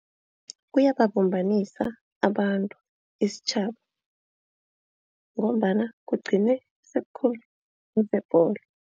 Kuyababumbanisa abantu isitjhaba ngombana kugcine